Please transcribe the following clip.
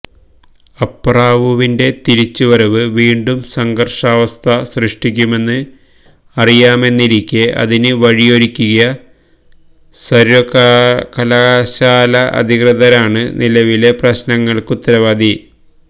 അപ്പറാവുവിന്റെ തിരിച്ചു വരവ് വീണ്ടും സംഘര്ഷാവസ്ഥ സൃഷ്ടിക്കുമെന്ന് അറിയാമെന്നിരിക്കെ അതിന് വഴിയൊരുക്കിയ സര്വകലാശാല അധികൃതരാണ് നിലവിലെ പ്രശ്നങ്ങള്ക്കുത്തരവാദി